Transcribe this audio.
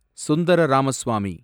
Sundara Ramaswamy